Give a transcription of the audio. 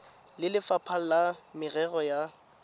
le lefapha la merero ya